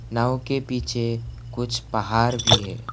नाव के पीछे कुछ पहार भी है।